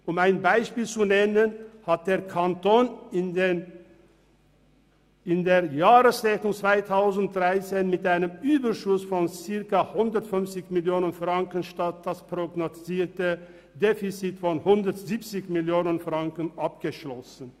– Um ein Beispiel zu nennen, hat der Kanton in der Jahresrechnung 2013 mit einem Überschuss von circa 150 Mio. Franken statt mit dem prognostizierten Defizit von 170 Mio. Franken abgeschlossen.